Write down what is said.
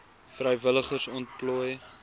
vrywilligers ontplooi